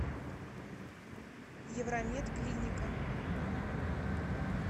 евромед клиника